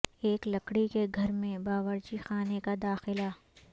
ایک لکڑی کے گھر میں باورچی خانے کا داخلہ